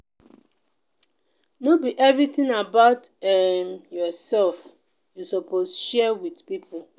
no be everytin about um yoursef you suppose share wit pipo.